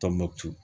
Tɔnbukutu